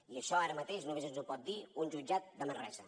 i això ara mateix només ens ho pot dir un jutjat de manresa